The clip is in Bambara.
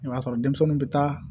I b'a sɔrɔ denmisɛnninw bɛ taa